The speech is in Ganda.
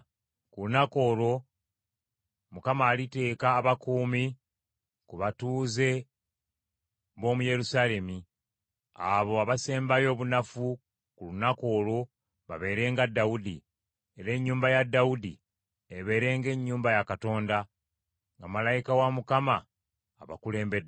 Ku lunaku olwo Mukama aliteeka obukuumi ku batuuze b’omu Yerusaalemi; abo abasembayo obunafu ku lunaku olwo babeere nga Dawudi, era ennyumba ya Dawudi ebeere ng’ennyumba ya Katonda, nga malayika wa Mukama abakulembeddemu.